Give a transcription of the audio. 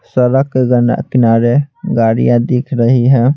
सड़क के किनारे गाड़ियां दिख रही हैं।